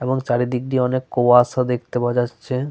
এবং চারিদিক দিয়ে অনেক কুয়াশা দেখতে পাওয়া যাচ্ছে।